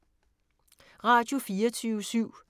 Radio24syv